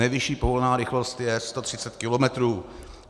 Nejvyšší povolená rychlost je 130 kilometrů.